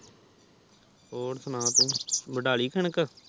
ਹੋਰ ਸੁਣਾ ਤੂੰ ਵਾਡਾ ਲਈ ਕਣਕ